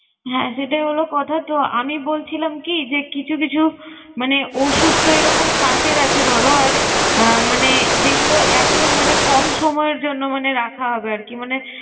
হ্যা, সেটাই হলো কথা। তো, আমি বলছিলাম কি যে কিছু কিছু মানে ঔষুধ তো এরকম কাঁচের আছে ধরো আর আহ মানে যেগুলো একদম মানে কম সময়ের জন্য মানে রাখা হবে আর কি মানে